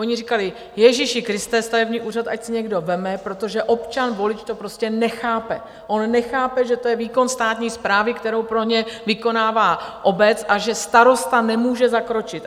Oni říkali: Ježíši Kriste, stavební úřad ať si někdo vezme, protože občan, volič to prostě nechápe, on nechápe, že to je výkon státní správy, kterou pro ně vykonává obec, a že starosta nemůže zakročit.